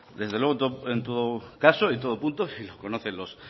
desde luego en todo caso y en todo punto y lo conocen los